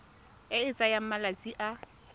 e e tsayang malatsi a